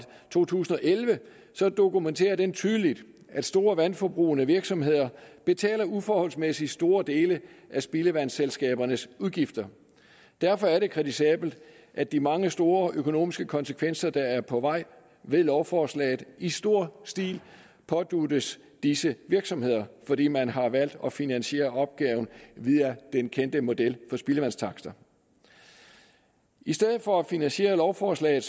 to tusind og elleve så dokumenterer den tydeligt at store vandforbrugende virksomheder betaler uforholdsmæssigt store dele af spildevandsselskabernes udgifter derfor er det kritisabelt at de mange store økonomiske konsekvenser der er på vej ved lovforslaget i stor stil påduttes disse virksomheder fordi man har valgt at finansiere opgaven via den kendte model for spildevandstakster i stedet for at finansiere lovforslaget